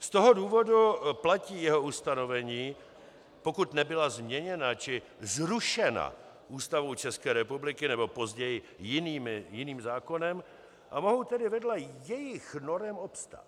Z toho důvodu platí jeho ustanovení, pokud nebyla změněna či zrušena Ústavou České republiky nebo později jiným zákonem, a mohou tedy vedle jejich norem obstát.